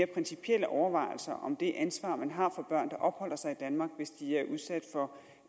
principielle overvejelser om det ansvar man har for børn der opholder sig i danmark hvis de er udsat for